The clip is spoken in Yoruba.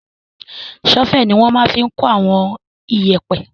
Ṣọ́fẹ̀ ni wọ́n máa fi n kó àwọn iyẹ̀pẹ̀